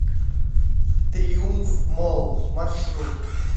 триумф молл маршрут